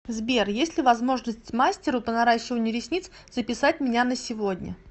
сбер есть ли возможность мастеру по наращиванию ресниц записать меня на сегодня